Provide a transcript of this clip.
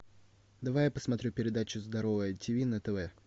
давай я посмотрю передачу здоровое тиви на тв